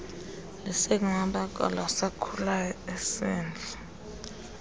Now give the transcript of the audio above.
lusekumabakala asakhulayo isende